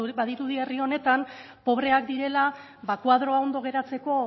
badirudi herri honetan pobreak direla koadroa ondo geratzeko